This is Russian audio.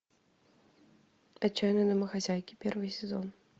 отчаянные домохозяйки первый сезон